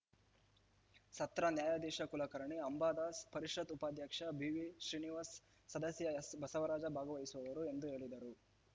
ಸತ್ರ ನ್ಯಾಯಾಧೀಶ ಕುಲಕರ್ಣಿ ಅಂಬಾದಾಸ್‌ ಪರಿಷತ್‌ ಉಪಾಧ್ಯಕ್ಷ ಬಿವಿಶ್ರೀನಿವಾಸ ಸದಸ್ಯ ಎಸ್‌ಬಸವರಾಜ ಭಾಗವಹಿಸುವರು ಎಂದು ಹೇಳಿದರು